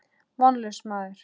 Vonlaus maður.